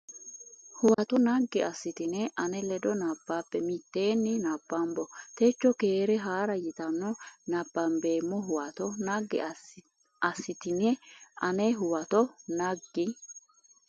Huwato naggi assitine ane ledo nabbabbe Mitteenni nabbambo techo Keere Haa ra yitanno nabbambeemmo Huwato naggi assitine ane Huwato naggi.